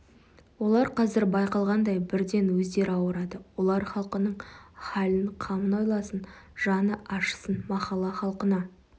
олар қазір байқалғандай бірден өздері ауырады олар халқының халін қамын ойласын жаны ашысын махалла халқына